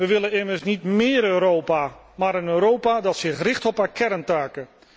We willen immers niet méér Europa, maar een Europa dat zich richt op haar kerntaken.